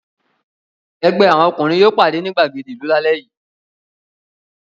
Ẹgbẹ́ àwọn ọkùnrin yóò pàdé ní ìgbàgede ìlú lálẹ́ yìí.